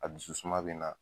A dusu suma bina